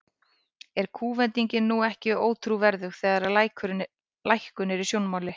Er kúvendingin nú ekki ótrúverðug, þegar að lækkun er í sjónmáli?